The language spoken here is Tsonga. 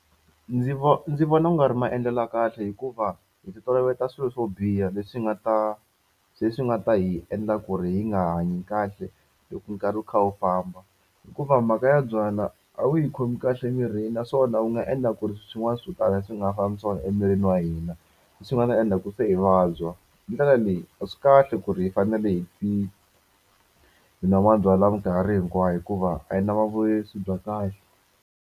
Ndzi vo ndzi vona ku nga ri maendlelo ya kahle hikuva hi titoloveta swilo swo biha leswi nga ta swi leswi nga ta hi endla ku ri yi nga hanyi kahle loko nkarhi wu kha wu famba hikuva mhaka ya byalwa a wu yi khomi kahle emirini swona wu nga endla ku ri swin'wana swo tala swi nga fambi swona emirini wa hina leswi hi nga ta endla ku se hi vabya. Hi ndlela leyi a swi kahle ku ri hi fanele hi hi nwa mabyalwa mikarhi hinkwayo hikuva a yi na swi kahle.